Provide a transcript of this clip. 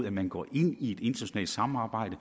at man går ind i et internationalt samarbejde